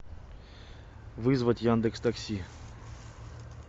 вызвать яндекс такси